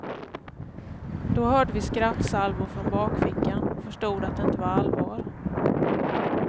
Då hörde vi skrattsalvor från bakfickan och förstod att det inte var allvar.